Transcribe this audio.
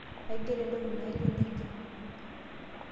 Aigero entoki naijo nejia.